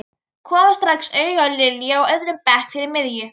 Kom strax auga á Lilju á öðrum bekk fyrir miðju.